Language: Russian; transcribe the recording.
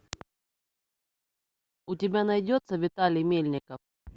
у тебя найдется виталий мельников